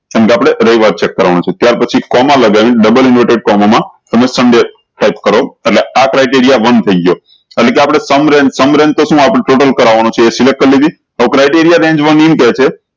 કેમ કે આપળે રવિવાર cheak કરવાનું છે ત્યાર પછી કોમા લગાવી ડબલ inverted કોમા મા સન્ડે ટાયપ કરો એટલે આ criteria વન થઇ ગયો એટલે કે આપળે sum range total તો શું આપ select કરવાનું છે એ criteria range one